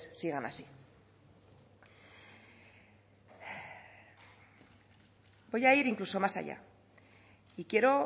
sigan así voy a ir incluso más allá y quiero